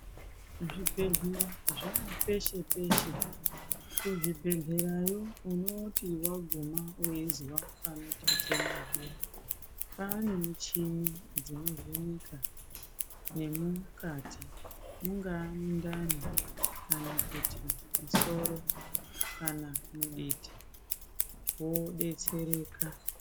Zvibhehlera zvaapeshe peshe .Kuzvibhehlerayo unoti waguma weizwa panotetena zviya ,panemushini inovheneka nemukati ,mungaa mundani kana kuti soro kana muditi wodetsereka.